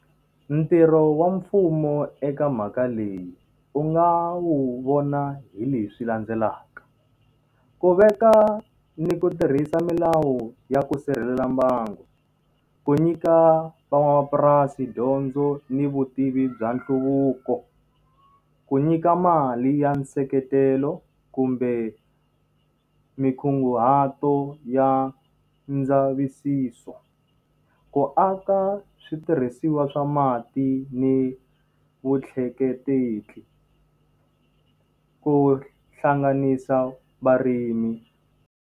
Ntirho wa mfumo eka mhaka leyi u nga wu vona hi leswi landzelaka. Ku veka ni ku tirhisa milawu ya ku sirhelela mbangu, ku nyika van'wamapurasi dyondzo ni vutivi bya nhluvuko, ku nyika mali ya nseketelo kumbe minkunguhato ya ndzavisiso, ku aka switirhisiwa swa mati ni vutleketli, ku hlanganisa varimi.